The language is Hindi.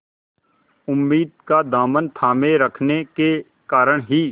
उम्मीद का दामन थामे रखने के कारण ही